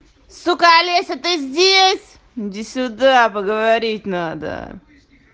сука олеся ты здесь иди сюда поговорить надо